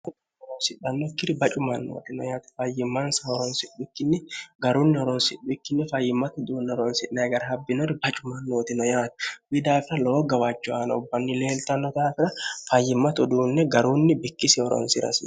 sidhannokkiri bacumannootino yaati fayyimmansa horonsiikkinni garunni horonsiwikkinni fayyimmatu duunne oronsi'ne agara habbinori bacumannootino yaati wi daafira lowo gawaacho aana ubbanni leelxannotaafira fayyimmatu duunne garunni bikkisi horonsi'rasi